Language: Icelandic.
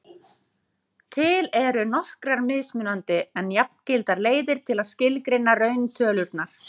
til eru nokkrar mismunandi en jafngildar leiðir til að skilgreina rauntölurnar